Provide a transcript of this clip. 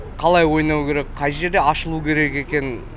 қалай ойнау керек қай жерде ашылу керек екенін